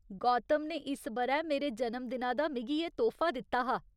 गौतम ने इस ब'रै मेरे जन्मदिना दा मिगी एह् तोह्फा दित्ता हा।